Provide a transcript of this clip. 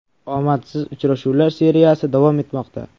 Omadsiz uchrashuvlar seriyasi davom etmoqda.